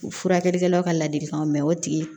U furakɛlikɛlaw ka ladilikanw mɛ o tigi